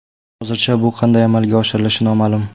Hozircha bu qanday amalga oshirilishi noma’lum.